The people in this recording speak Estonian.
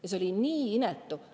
See oli nii inetu!